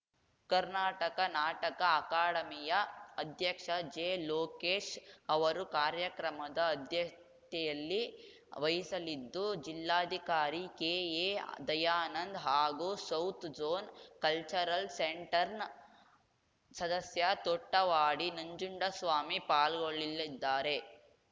ಕರ್ನಾಟಕ ನಾಟಕ ಅಕಾಡೆಮಿಯ ಅಧ್ಯಕ್ಷ ಜೆಲೋಕೇಶ್‌ ಅವರು ಕಾರ್ಯಕ್ರಮದ ಅಧ್ಯತೆಯನ್ನು ವಹಿಸಲಿದ್ದುಜಿಲ್ಲಾಧಿಕಾರಿ ಕೆಎದಯಾನಂದ ಹಾಗೂ ಸೌತ್‌ಜೋನ್‌ ಕಲ್ಚರಲ್‌ ಸೆಂಟರ್‌ನ ಸದಸ್ಯ ತೊಟ್ಟವಾಡಿ ನಂಜುಂಡಸ್ವಾಮಿ ಪಾಲ್ಗೊಳ್ಳಲಿದ್ದಾರೆ